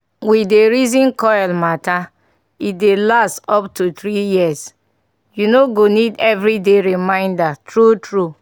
we dey reason coil matter e dey last up to 3yrs -- u no go need everyday reminder true true.